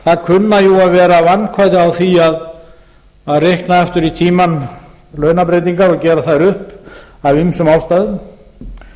það kunna jú að vera vandkvæði á því að reikna aftur í tímann launabreytingar og gera þær upp af ýmsum ástæðum